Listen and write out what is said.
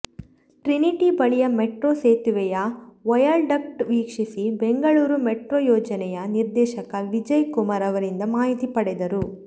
Trinity ಬಳಿಯ metro ಸೇತುವೆಯ viaduct ವೀಕ್ಷಿಸಿ ಬೆಂಗಳೂರು ಮೆಟ್ರೋ ಯೋಜನೆಯ ನಿರ್ದೇಶಕ ವಿಜಯ್ ಕುಮಾರ್ ಅವರಿಂದ ಮಾಹಿತಿ ಪಡೆದರು